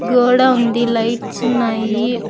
గోడా ఉంది లైట్స్ ఉన్నాయి.